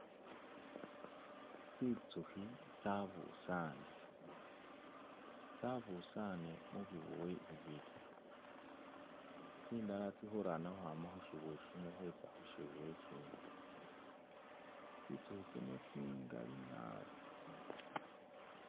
Tsinzukhi tsabusane, tsabusan mubibuwe bibili tsindala tsili khuralana khukhwama khushibuwe khuza khushibuwe ishidi tsinzukhi zino zingali naabi.